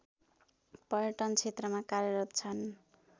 पर्यटन क्षेत्रमा कार्यरत छन्